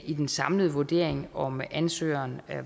i den samlede vurdering om ansøgeren